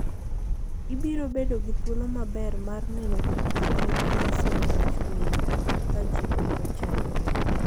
Ibiro bedo gi thuolo maber mar neno gik mabeyo ma Nyasaye nochueyo ka ji ok ochandore.